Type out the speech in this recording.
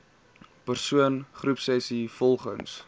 persoon groepsessies volgens